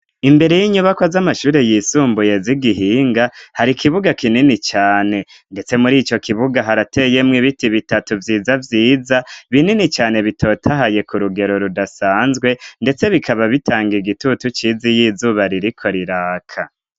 Imbere y'inyubako z'amashuri yisumbuye z'i Gihinga, hari kibuga kinini cane, ndetse muri ico kibuga harateyemwo ibiti bitatu vyiza vyiza, binini cane bitotahaye ku rugero rudasanzwe, ndetse bikaba bitanga igitutu ciza iy'izuba ririko riraka.